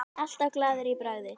Alltaf glaður í bragði.